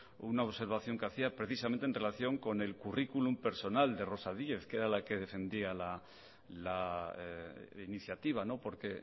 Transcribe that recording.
una observación que hacía precisamente en relación con el curriculum personal de rosa díez que era la que defendía la iniciativa porque